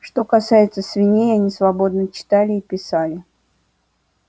что касается свиней они свободно читали и писали